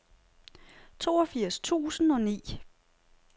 toogfirs tusind og ni